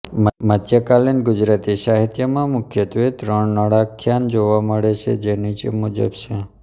મધ્યકાલીન ગુજરાતી સાહિત્યમાં મુખ્યત્વે ત્રણ નળાખ્યાન જોવા મળે છે જે નીચે મુજબ છે